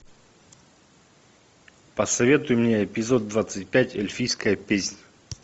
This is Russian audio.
посоветуй мне эпизод двадцать пять эльфийская песнь